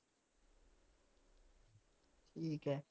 ਠੀਕ ਐ